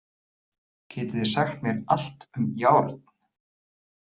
Getið þið sagt mér allt um járn?